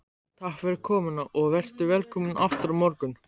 Takk fyrir komuna og vertu velkomin aftur á morgun.